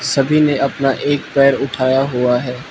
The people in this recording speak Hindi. सभी ने अपना एक पैर उठाया हुआ हैं।